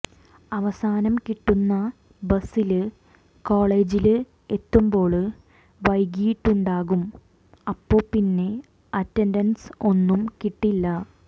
അവസാനം കിട്ടുന്ന ബസ്സില് കോളേജില് എത്തുമ്പോള് വൈകിയിട്ടുണ്ടാകും അപ്പൊ പിന്നെ അറ്റന്ഡന്സ് ഒന്നും കിട്ടില്ല